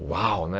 Uau, né?